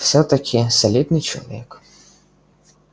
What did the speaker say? всё-таки солидный человек